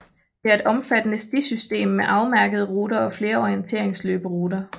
Der er et omfattende stisystem med afmærkede ruter og flere orienteringsløberuter